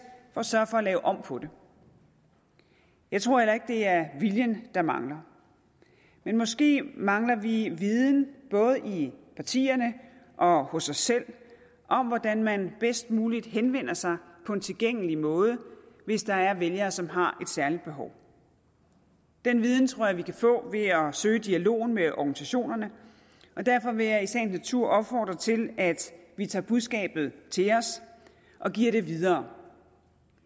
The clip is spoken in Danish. og sørge for at lave om på jeg tror heller ikke det er viljen der mangler men måske mangler vi viden både i partierne og hos os selv om hvordan man bedst muligt henvender sig på en tilgængelig måde hvis der er vælgere som har et særligt behov den viden tror jeg vi kan få ved at søge dialogen med organisationerne og derfor vil jeg i sagens natur opfordre til at vi tager budskabet til os og giver det videre